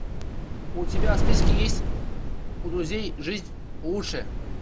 у тебя в списке есть у друзей жизнь лучше